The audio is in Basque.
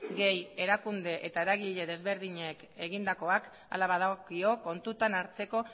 gehi erakunde eta eragile desberdinek egindakoak hala badagokio kontutan hartzeko